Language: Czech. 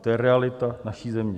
To je realita naší země.